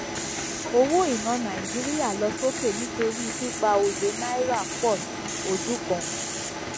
owó iná nàìjíríà lọ sókè nítorí pípa òye náírà pò sí ojú kan